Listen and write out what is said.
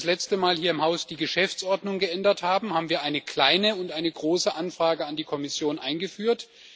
Als wir das letzte Mal hier im Haus die Geschäftsordnung geändert haben, haben wir eine kleine und eine große Anfrage an die Kommission eingeführt.